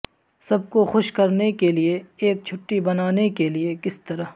سب کو خوش کرنے کے لئے ایک چھٹی بنانے کے لئے کس طرح